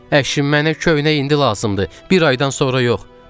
Əşim, mənə köynək indi lazımdır, bir aydan sonra yox.